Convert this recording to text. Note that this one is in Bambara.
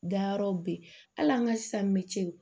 Dayɔrɔ be yen hali an ka san mɛ cɛ